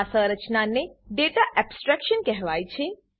આ સંરચનાને data abstraction કહેવાય છે